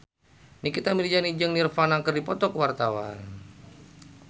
Nikita Mirzani jeung Nirvana keur dipoto ku wartawan